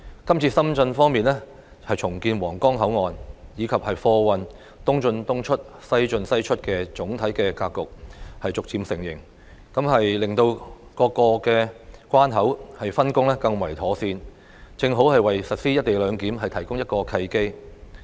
這次深圳方面重建皇崗口岸，以及貨運"東進東出、西進西出"的總體格局逐步形成，令各個關口的分工更為妥善，正好為實施"一地兩檢"提供一個契機。